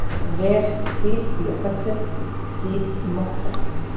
ver, hvít gluggatjöld, hvít motta.